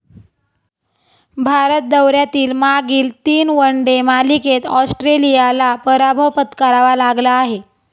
भारत दौऱ्यातील मागील तीन वन डे मालिकेत ऑस्ट्रेलियाला पराभव पत्करावा लागला आहे.